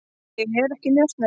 Ég er ekki njósnari.